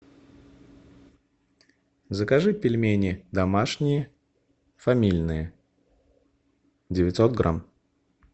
закажи пельмени домашние фамильные девятьсот грамм